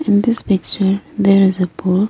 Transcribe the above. In this picture there is a pool.